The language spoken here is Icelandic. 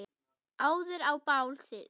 áður á bál stigi